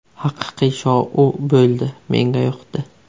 Haqiqiy shou bo‘ldi, menga yoqdi.